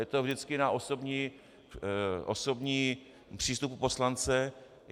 Je to vždycky na osobním přístupu poslance.